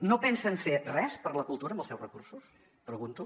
no pensen fer res per la cultura amb els seus recursos pregunto